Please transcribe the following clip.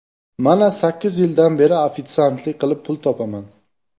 Mana sakkiz yildan beri ofitsiantlik qilib pul topaman.